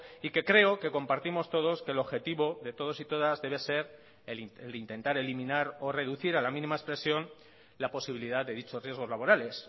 y que creo que compartimos todos que el objetivo de todos y todas debe ser el intentar eliminar o reducir a la mínima expresión la posibilidad de dichos riesgos laborales